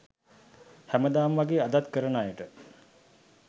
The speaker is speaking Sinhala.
හැමදාම වගේ අදත් කරන අයට